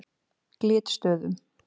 Glitstöðum